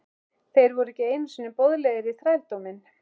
Þeir voru ekki einu sinni boðlegir í þrældóminn!